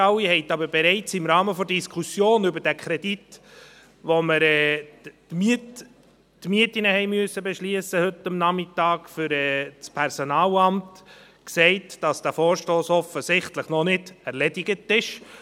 Bereits im Rahmen der Diskussion über diesen Kredit, als wir heute Nachmittag die Mieten für das Personalamt beschliessen mussten, haben Sie alle aber gesagt, dass dieser Vorstoss offensichtlich noch nicht erledigt ist;